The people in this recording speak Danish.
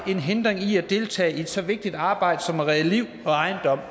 er en hindring i at deltage i et så vigtigt arbejde som at redde liv og ejendom og